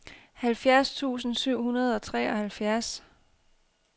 halvfjerds tusind syv hundrede og treoghalvfjerds